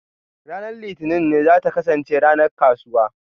Ranar Litinin za ta kasance ranar kasuwa.